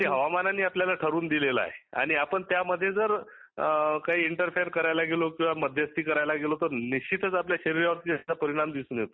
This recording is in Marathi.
ते हवामानाने ठरवून दिलेले आहे. आपण त्यामध्ये जर काही इंटरफिअर किंवा मध्यस्थी करायला गेलो तर निश्चितच आपल्या शरिरावर परिणाम दिसून येतो